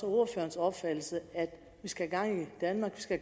er ordførerens opfattelse at vi skal i gang i danmark vi skal